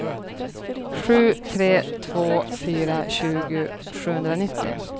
sju tre två fyra tjugo sjuhundranittio